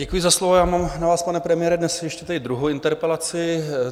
Děkuji za slovo, já mám na vás, pane premiére, dnes ještě tady druhou interpelaci.